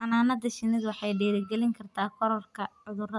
Xannaanada shinnidu waxay dhiirigelin kartaa kororka cudurrada.